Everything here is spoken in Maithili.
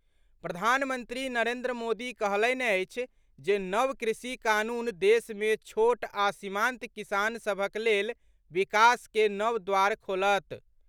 प्रधानमंत्री नरेन्द्र मोदी कहलनि अछि जे नव कृषि कानून देश मे छोट आ सीमांत किसान सभक लेल विकास के नव द्वार खोलत।